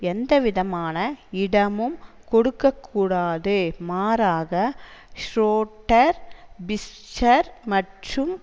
எந்த விதமான இடமும் கொடுக்க கூடாது மாறாக ஷ்ரோடர் பிஸ்ஸர் மற்றும்